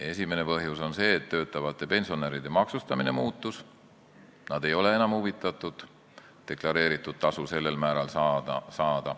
Esimene põhjus on see, et töötavate pensionäride maksustamine muutus, nad ei ole huvitatud deklareeritud tasu endisel määral saamisest.